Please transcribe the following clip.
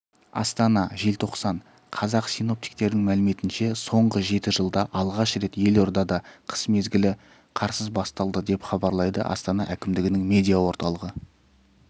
астана желтоқсан қазақ синоптиктердің мәліметінше соңғы жеті жылда алғаш рет елордада қыс мезгілі қарсыз басталды деп хабарлайды астана әкімдігінің медиа орталығы